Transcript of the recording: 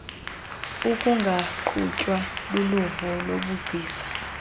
ukungaqhutywa luluvo lobugcisa